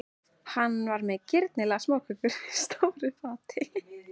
Hann er með girnilegar smákökur á stóru fati.